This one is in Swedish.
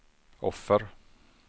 offer